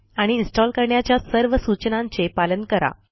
आणि इन्स्टॉल करण्याच्या सर्व सूचनांचे पालन करा